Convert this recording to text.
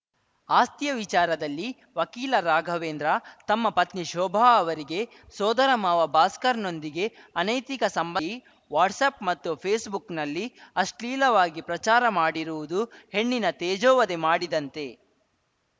ಆಸ್ತಿಯ ವಿಚಾರದಲ್ಲಿ ವಕೀಲ ರಾಘವೇಂದ್ರ ತಮ್ಮ ಪತ್ನಿ ಶೋಭಾ ಅವರಿಗೆ ಸೋದರ ಮಾವ ಭಾಸ್ಕರ್‌ನೊಂದಿಗೆ ಅನೈತಿಕ ಸಂಬಂಧ ಈ ವಾಟ್ಸ್‌ಆ್ಯಪ್‌ ಮತ್ತು ಫೇಸ್‌ಬುಕ್‌ನಲ್ಲಿ ಅಶ್ಲೀಲವಾಗಿ ಪ್ರಚಾರ ಮಾಡಿರುವುದು ಹೆಣ್ಣಿನ ತೇಜೋವಧೆ ಮಾಡಿದಂತೆ